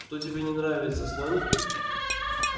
чем тебе не нравятся слоники